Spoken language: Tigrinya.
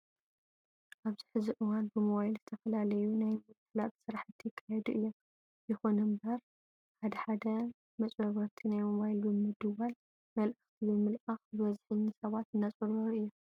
ኣብዚ ሕዚ እዋን ብሞባይል ዝተፈላለዩ ናይ ምፍላጥ ስራሕቲ ይካየዱ እዮም። ይኹን እምበር ሓደ ሓደ መጭበርበርቲ ናብ ሞባይል ብምድዋልን መልእክቲ ብምልኣኽን ብበዝሒ ንሰባት እናጭበርበሩ እዮም።